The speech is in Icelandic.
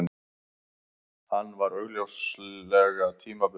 Hann var augsýnilega tímabundinn.